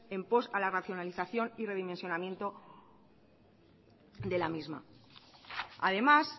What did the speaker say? en post a la racionalización y redimensionamiento de la misma además